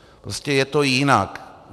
Prostě je to jinak.